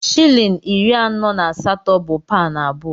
Shịlịn iri anọ na asatọ bụ paụnụ abụọ.